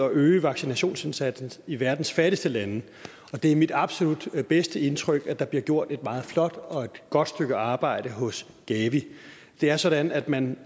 at øge vaccinationsindsatsen i verdens fattigste lande og det er mit absolut bedste indtryk at der bliver gjort et meget flot og godt stykke arbejde hos gavi det er sådan at man